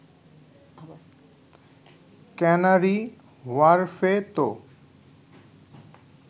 canary হোয়ার্ফে তো